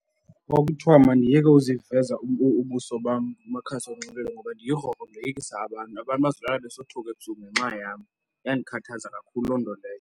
Kwakuthiwa mandiyeke ukuziveza ubuso bam kumakhasi onxibelelwano ngoba ndiyigrogro ndoyikisa abantu. Abantu bazolala besothuka ebusuku ngenxa yam. Yandikhathaza kakhulu loo nto leyo.